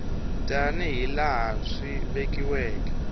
tani hi laha swi vekiweke